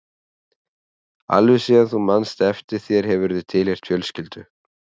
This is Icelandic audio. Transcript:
Alveg síðan þú manst eftir þér hefurðu tilheyrt fjölskyldu.